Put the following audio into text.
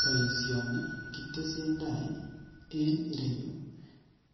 Boisioni kitesentai en ireyu,